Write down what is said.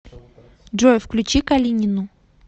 джой включи калинину